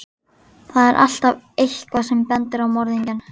Þar er alltaf EITTHVAÐ sem bendir á morðingjann.